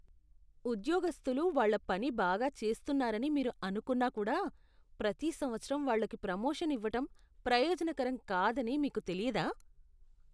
ఉద్యోగస్తులు వాళ్ళ పని బాగా చేస్తున్నారని మీరు అనుకున్నా కూడా, ప్రతి సంవత్సరం వాళ్ళకి ప్రమోషన్ ఇవ్వటం ప్రయోజనకరం కాదని మీకు తెలియదా?